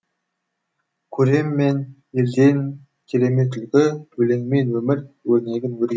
көрем мен елден керемет үлгі өлеңмен өмір өрнегін өрген